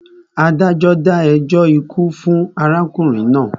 Adájọ́ dá ẹjọ́ ikú fún arákùnrin náà.